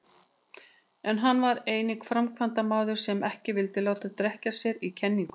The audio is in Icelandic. En hann var einnig framkvæmdamaður sem ekki vildi láta drekkja sér í kenningum.